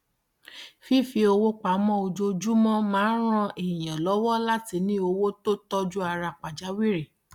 fífi owó pa mọ ojoojúmọ máa ń ran èèyàn lọwọ láti ní owó tó tọjú ara pàjáwìrì